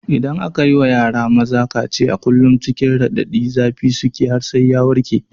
Idan aka yi ma yara maza kaciya kullum cikin raɗadin zafi suke har sai ya warke.